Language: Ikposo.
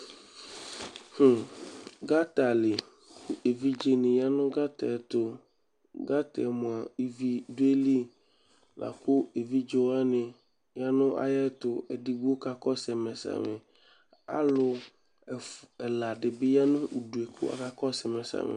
Gata li, evidzenɩ ya nʋ gata yɛ tʋ Gata yɛ mʋa, ivi dʋ ayili la kʋ evidze wanɩ ya nʋ ayɛtʋ Edigbo kakɔsʋ ɛmɛ samɩ Alʋ ɛfʋ ɛla dɩ bɩ ya nʋ udu yɛ kʋ akakɔsʋ ma samɩ